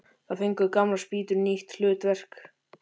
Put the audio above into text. Þar fengu gamlar spýtur nýtt hlutverk.